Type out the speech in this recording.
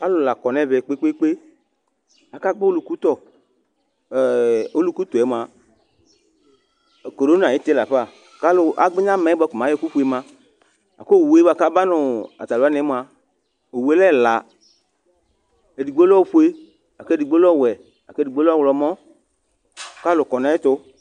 Alʋ lakɔ ɛmɛ kpe kpe kpe akagbɔ ɔluku tɔ oluku tɔɛ mʋa korona ayʋ iti lafa kʋ agbenya bʋa ko mɛ ayɔ ɛkʋ kpema kʋ owʋe bʋakʋ aba nʋ atalʋ waniɛ mʋa owʋe lɛ ɛla edigbo lɛ ofue kʋ edigbo lɛ ɔwɛ kʋ edigbo lɛ ɔwlɔmɔ kʋ alʋ kɔ nʋ ayʋ ɛtʋ